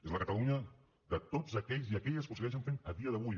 és la catalunya de tots aquells i aquelles que ho segueixen fent a dia d’avui